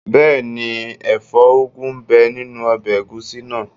Bẹ́ẹ̀ni, ẹ̀fọ́ úgu ń bẹ nínu ọbẹ̀ ẹ̀gúsí náà